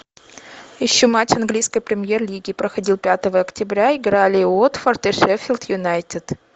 ищу матч английской премьер лиги проходил пятого октября играли уотфорд и шеффилд юнайтед